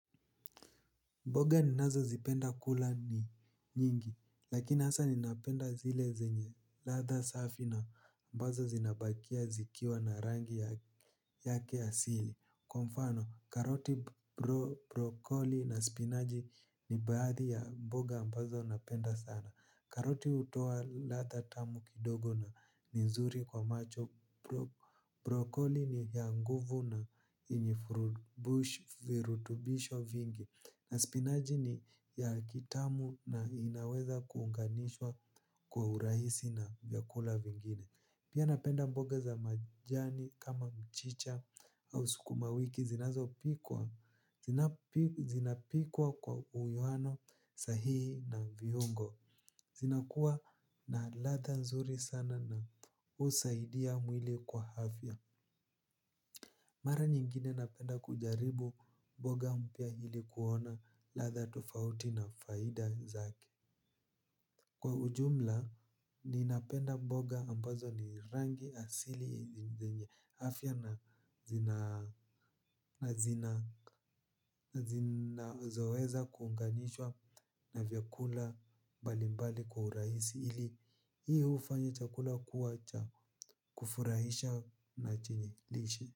Mboga ninazo zipenda kula ni nyingi lakini hasa ninapenda zile zenye latha safi na mbazo zinabakia zikiwa na rangi yake asili. Kwa mfano karoti brokoli na spinaji ni baadhi ya mboga mbazo napenda sana. Karoti hutoa latha tamu kidogo na ninzuri kwa macho. Brokoli ni ya nguvu na yenye vurutubisho vingi. Na spinaji ni ya kitamu na inaweza kuunganishwa kwa urahisi na vyakula vingine. Pia napenda mboga za majani kama mchicha au sukuma wiki zinazopikwa kwa uwiano sahihi na viungo. Zinakuwa na latha nzuri sana na husaidia mwili kwa hafya. Mara nyingine napenda kujaribu boga mpya ilikuona latha tufauti na faida zake. Kwa ujumla, ninapenda boga ambazo ni rangi asili zenye afya na zina zoeza kuunganishwa na vyakula balimbali kwa urahisi ili hiyo ufanya chakula kuwacha kufurahisha na chenye lishe.